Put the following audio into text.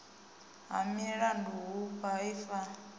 ha milandu hu paa ifa